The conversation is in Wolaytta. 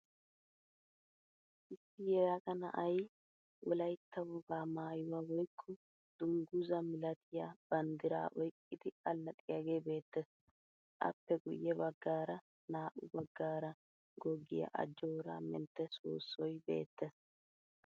Issi yelaga na'ayi wolayitta wogaa maayuwa woyikko dungguzaa milatiya banddiraa oyqqidi allaxxiyagee beettees. Appe guyye baggaara naa'u baggaara goggiya ajjoora mentte soossoyi beettees.